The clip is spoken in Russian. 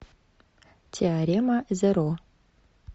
теорема зеро